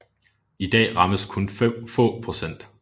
I dag rammes kun få procent